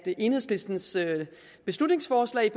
enhedslistens beslutningsforslag